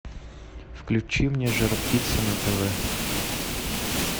включи мне жар птица на тв